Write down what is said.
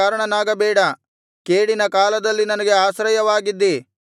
ನನ್ನ ಹೆದರಿಕೆಗೆ ಕಾರಣನಾಗಬೇಡ ಕೇಡಿನ ಕಾಲದಲ್ಲಿ ನನಗೆ ಆಶ್ರಯವಾಗಿದ್ದಿ